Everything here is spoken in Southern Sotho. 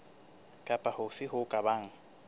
kapa hofe ho ka bang